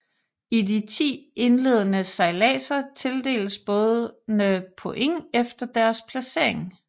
I de ti indledende sejladser tildeles bådene points efter deres placering